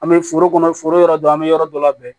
An bɛ foro kɔnɔ foro yɔrɔ dɔ an be yɔrɔ dɔ labɛn